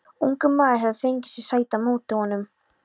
Ungur maður hefur fengið sér sæti á móti honum.